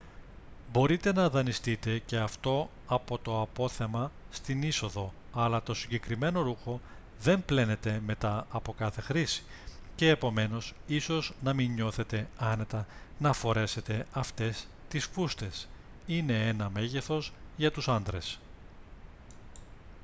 μπορείτε να δανειστείτε και αυτό από το απόθεμα στην είσοδο αλλά το συγκεκριμένο ρούχο δεν πλένεται μετά από κάθε χρήση και επομένως ίσως να μην νιώθετε άνετα να φορέσετε αυτές τις φούστες είναι ένα μέγεθος για τους άντρες